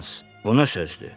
Hans, bu nə sözdür?